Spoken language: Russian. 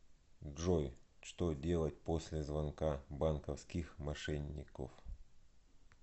джой что делать после звонка банковских мошенников